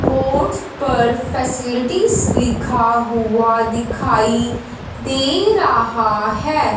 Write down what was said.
Board पर facilities लिखा हुआ दिखाई दे रहा हैं।